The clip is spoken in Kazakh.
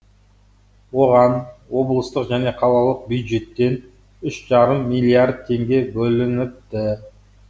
оған облыстық және қалалық бюджеттен үш жарым миллиард теңге бөлініпті